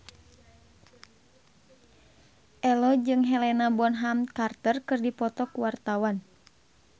Ello jeung Helena Bonham Carter keur dipoto ku wartawan